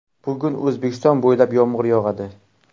Bugun O‘zbekiston bo‘ylab yomg‘ir yog‘adi.